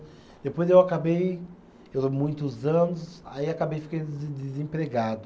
Depois eu acabei, eu muitos anos, aí acabei ficando desem desempregado.